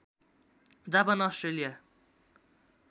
Japan Australia